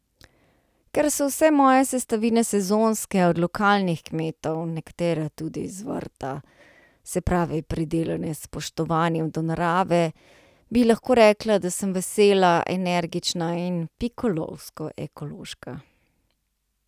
Ker so vse moje sestavine sezonske, od lokalnih kmetov, nekatere tudi z vrta, se pravi pridelane s spoštovanjem do narave, bi lahko rekla, da sem vesela, energična in pikolovsko ekološka!